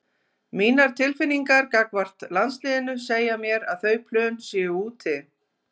Mínar tilfinningar gagnvart landsliðinu segja mér að þau plön séu úti.